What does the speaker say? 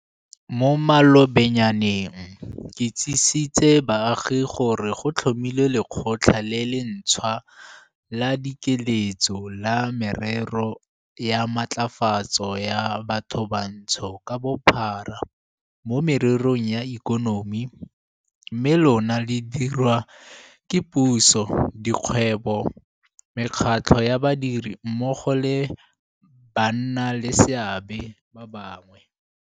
Mo malobanyaneng ke itsisitse baagi gore go tlhomilwe Lekgotla le le ntšhwa la Dikeletso la Merero ya Matlafatso ya Bathobantsho ka Bophara mo Mererong ya Ikonomi, mme lona le diriwa ke puso, di kgwebo, mekgatlho ya badiri mmogo le bannaleseabe ba bangwe.